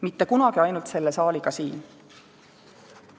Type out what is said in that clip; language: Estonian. Mitte kunagi ainult selle saaliga siin.